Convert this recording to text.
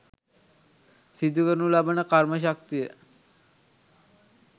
සිදුකරනු ලබන කර්ම ශක්තිය